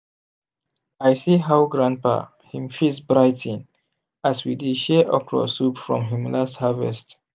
i see how grandpa him face brigh ten as we dey share okra soup from him last harvest.